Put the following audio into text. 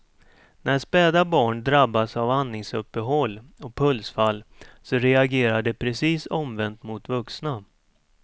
När späda barn drabbas av andningsuppehåll och pulsfall så reagerar de precis omvänt mot vuxna.